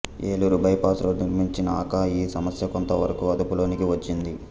Eluru bypass road నిర్మించినాక ఈ సమస్య కొంతవరకు అదుపులోనికి వచ్చింది